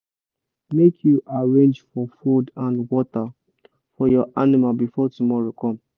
make you arrange for food and water for your animal before tomorow come